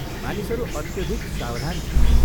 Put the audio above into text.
मानिसहरू अत्यधिक सावधान थिए।